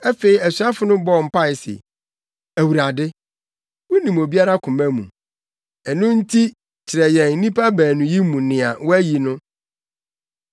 Afei asuafo no bɔɔ mpae se, “Awurade, wunim obiara koma mu. Ɛno nti kyerɛ yɛn nnipa baanu yi mu nea woayi no